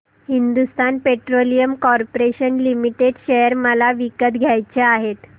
Hindustan Petroleum Corporation Limited share मला विकत घ्यायचे आहेत